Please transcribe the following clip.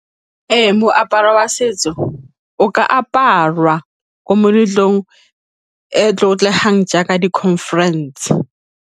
Ee, moaparo wa setso o ka aparwa ko meletlong e e tlotlegang jaaka di-conference.